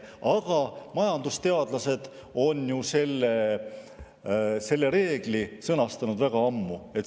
Aga majandusteadlased on ju selle reegli sõnastanud väga ammu.